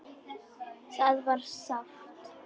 Það var sárt.